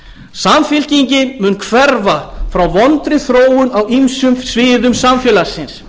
samfylkingin mun hverfa frá vondri þróun á ýmsum sviðum samfélagsins